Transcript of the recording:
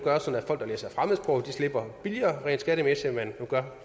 slipper billigere skattemæssigt end man gør